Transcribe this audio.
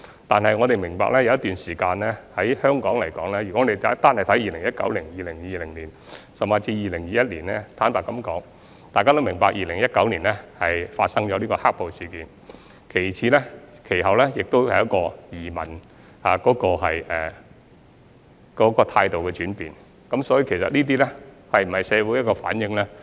但是，我們要明白，香港有一段時間，例如2019年、2020年，甚或2021年，坦白說，大家都明白 ，2019 年發生"黑暴"事件，其後也出現對移民態度的轉變，所以這些數字是否反映社會的現況呢？